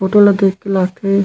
photo ला देख के लागथे--